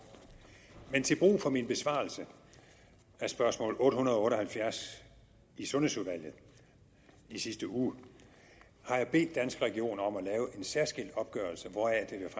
men til brug for min besvarelse af spørgsmål otte hundrede og otte og halvfjerds i sundhedsudvalget i sidste uge har jeg bedt danske regioner om at lave en særskilt opgørelse hvoraf det